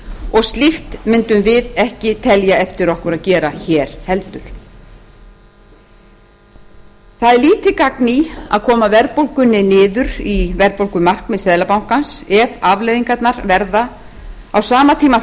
og slíkt mundum við ekki telja eftir okkur að gera hér heldur það er lítið gagn í að koma verðbólgunni niður í verðbólgumarkmið seðlabankans ef afleiðingarnar verða á sama tíma